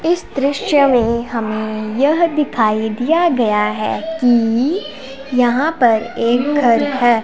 इस दृश्य में हमें यह दिखाई दिया गया है कि यहां पर एक घर है।